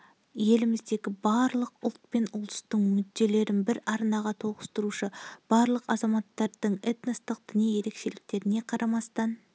еліміздегі барлық ұлт пен ұлыстың мүдделерін бір арнаға тоғыстырушы барлық азаматтардың этностық діни ерекшеліктеріне қарамастан